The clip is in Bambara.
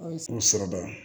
O sɔrɔ la